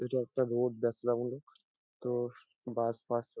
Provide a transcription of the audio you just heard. এটা একটা রোড । তো-ও বাস পাস চ --